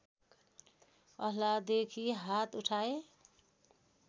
अल्लाहदेखि हात उठाए